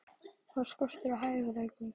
Var skortur á hæfileikum?